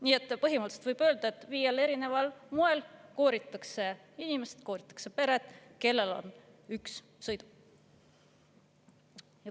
Nii et põhimõtteliselt võib öelda, et viiel erineval moel kooritakse inimesi, kooritakse peresid, kellel on üks sõiduk.